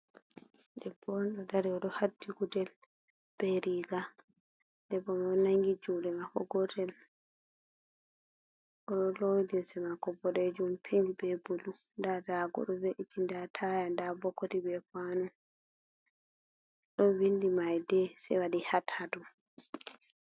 Debbo on ɗo dari oɗo hadti gudel be riga, debbo mai oɗo nangi juɗe mako gotel, oɗo lowi limse mako boɗejuum, pink be bulu, nda dagoo ɗo we'iti, nda taya, nda bokoti, be kawano ɗon windi mai di se waɗi hat hat.